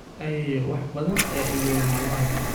Ayeeyo wax badan ayaa ilowda maalmahan